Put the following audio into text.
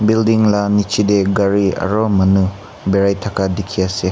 building la nichete gari aro manu berai thaka dikhi ase.